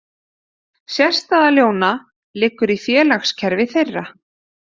Sérstaða ljóna liggur í félagskerfi þeirra.